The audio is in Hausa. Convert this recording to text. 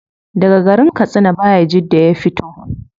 Daga garin katsina bayajidda ya fito